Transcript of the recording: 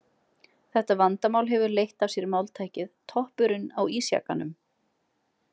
Þetta vandamál hefur leitt af sér máltækið „toppurinn á ísjakanum“.